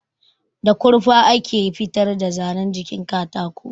Da kurfa ake fitar da zanan jikin katako